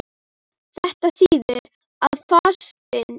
Þetta þýðir að fastinn